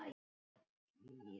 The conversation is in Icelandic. Vinir okkar fara fjöld.